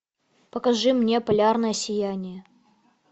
покажи мне полярное сияние